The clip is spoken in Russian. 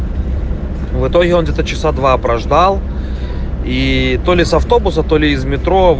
в итоге он где-то часа два прождал и то ли с автобуса то ли из метро